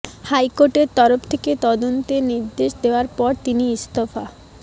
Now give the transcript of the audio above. হাইকোর্টের তরফ থেকে তদন্তের নির্দেশ দেওয়ার পর তিনি ইস্তফা